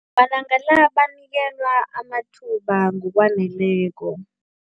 Malanga la banikelwa amathuba ngokwaneleko.